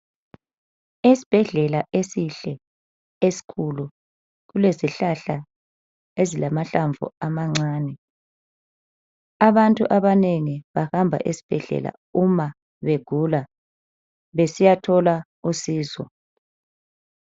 Esibhedlela esihle esikhulu kulezi hlahla ezilamahlamvu amancane, abantu abanengi bahba esibhedlela nxa begula besiya thola usizo.